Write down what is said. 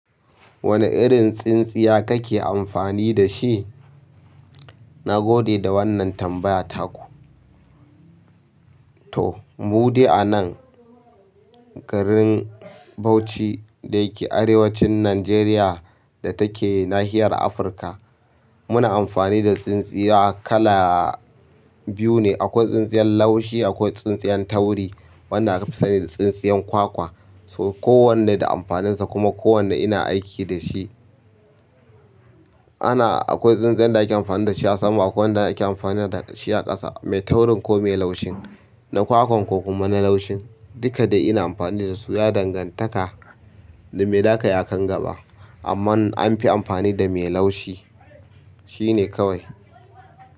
Wane irin tsintsiya kake amfani da shi? Na gode da wannan tambaya taku. To, mu dai anan garin Bauchi da yake arewacin Najeriya da take nahiyar Afirka, muna amfani da tsintsiya kala biyu ne. Akwai tsintsiyar laushi akwai tsintsiyar tawri. Wanda aka fi sani da tsintsiyan kwa kwa so kowanne da amfaninsa kuma kowanne ina aiki da shi. Ana-- akwai tsintsiyar da ake amfani da shi a sama akwai wanda ake amfani da shi a ƙasa, mai taurin ko mai laushin, na kwakwan ko kuma na laushin. Duka dai ina amfani dasu ya dangantaka da mai zaka yi akan gaba amma an fi amfani da mai laushi, shi ne kawai.